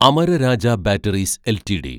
Amara Raja batteries LTD